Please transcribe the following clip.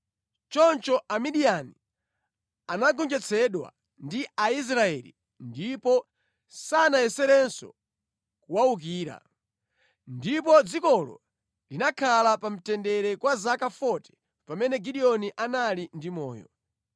Choncho Amidiyani anagonjetsedwa ndi Aisraeli ndipo sanayeserenso kuwawukira. Ndipo dzikolo linakhala pa mtendere kwa zaka 40 pamene Gideoni anali ndi moyo.